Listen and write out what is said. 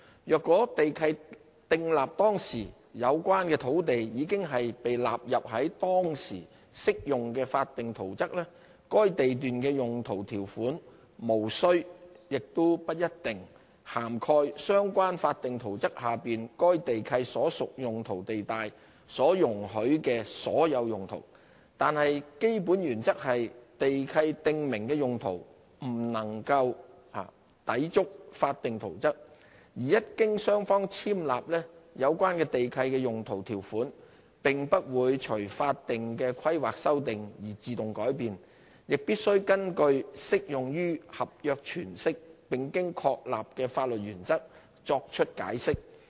如果地契訂立當時，有關的土地已納入當時適用的法定圖則，該地契的用途條款無須、亦不一定涵蓋相關法定圖則下該地段所屬用途地帶所容許的所有用途，但基本原則是地契訂明的用途不能夠抵觸法定圖則，而一經雙方簽立，有關地契的用途條款並不會隨法定規劃修訂而自動改變，亦必須根據適用於合約詮釋並經確立的法律原則作出解釋。